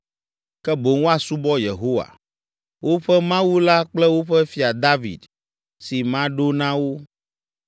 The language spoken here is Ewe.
Ke boŋ woasubɔ Yehowa, woƒe Mawu la kple woƒe fia David, si maɖo na wo.